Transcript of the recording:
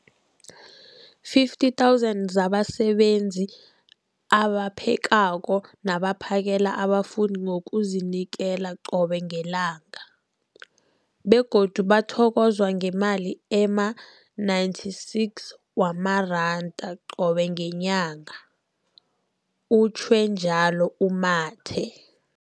50 000 zabasebenzi abaphekako nabaphakela abafundi ngokuzinikela qobe ngelanga, begodu bathokozwa ngemali ema-960 wamaranda qobe ngenyanga, utjhwe njalo u-Mathe.